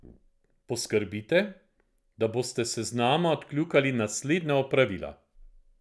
Poskrbite, da boste s seznama odkljukali naslednja opravila.